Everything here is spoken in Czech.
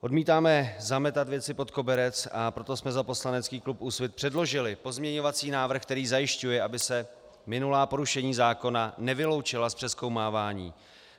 Odmítáme zametat věci pod koberec, a proto jsme za poslanecký klub Úsvit předložili pozměňovací návrh, který zajišťuje, aby se minulá porušení zákona nevyloučila z přezkoumávání.